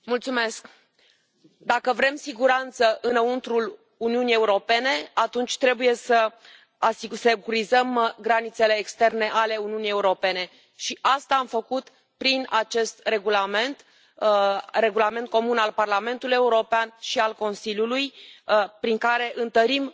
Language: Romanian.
Doamnă președintă, dacă vrem siguranță înăuntrul Uniunii Europene, atunci trebuie să securizăm granițele externe ale Uniunii Europene și asta am făcut prin acest regulament, regulament comun al Parlamentului European și al Consiliului, prin care întărim